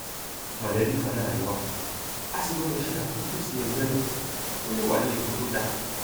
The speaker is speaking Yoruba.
mọlẹbí kan náà ni wà á sì gbọdọ ṣe àtúntò sí ẹgbẹ náà kó lè wà ní ipò tó dáa